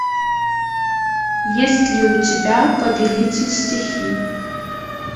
есть ли у тебя повелитель стихий